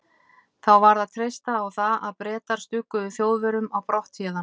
Þá varð að treysta á það, að Bretar stugguðu Þjóðverjum á brott héðan.